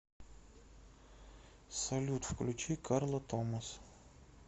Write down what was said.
салют включи карла томас